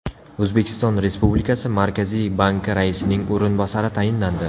O‘zbekiston Respublikasi Markaziy banki raisining o‘rinbosari tayinlandi.